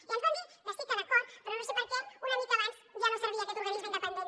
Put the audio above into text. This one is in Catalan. i ens van dir que sí que d’acord però no sé per què una mica abans ja no servia aquest organisme independent